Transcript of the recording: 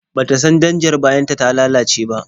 Ba ta san danjar bayanta ta lalace ba.